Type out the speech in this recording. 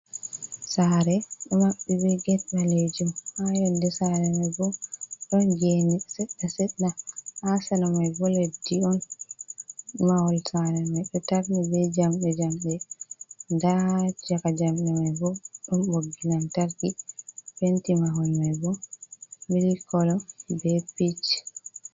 Saare ɗo maɓɓi be get ɓaleejum, haa yonnde saare may bo, ɗon geeni seɗɗa-seɗɗa, haa sera may bo leddi on. Mahol saare may ɗo tarni be jamɗe jamɗe, ndaa caka jamɗe may bo, ɗon ɓoggi lantarki, penti mahol may bo, mili kolo be piic.